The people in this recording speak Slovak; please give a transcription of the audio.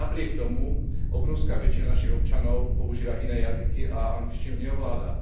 Napriek tomu, obrovská väčšina našich občanov používa iné jazyky a angličtinu neovláda.